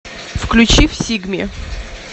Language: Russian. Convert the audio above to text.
включи всигме